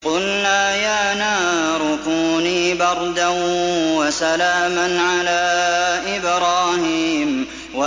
قُلْنَا يَا نَارُ كُونِي بَرْدًا وَسَلَامًا عَلَىٰ إِبْرَاهِيمَ